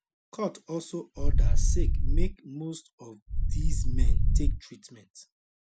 court also order sake make most of these men take treatment